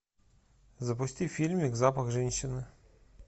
запусти фильмик запах женщины